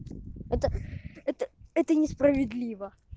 это это это несправедливо